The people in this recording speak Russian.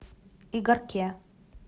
игарке